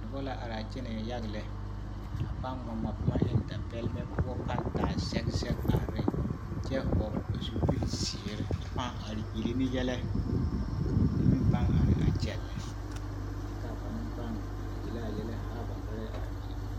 Noba la araa kyɛnɛɛ yage lɛ a pãã ŋma ŋma boma eŋ dapɛlemɛ poɔ pãã taa zɛge zɛge are ne kyɛ hɔgele ba zupili zeere pãã are yele ne yɛlɛ ka bamine meŋ pãã are a kyɛllɛ kyɛ ka banaŋ pãã yele a yɛlɛ haa ba nɔrɛɛ are ne.